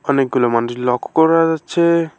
অনেকগুলো মানুষ লক্ষ্য করা যাচ্ছে।